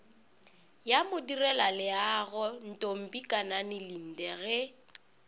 ya modirelaleago ntombikanani linde ge